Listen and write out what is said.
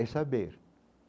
É saber.